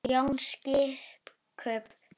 Jón biskup!